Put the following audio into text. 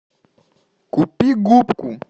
купи губку